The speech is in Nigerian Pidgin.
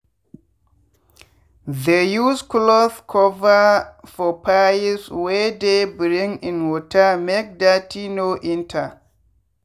they use clothe cover for pipes wey dey bring in watermake dirty no enter.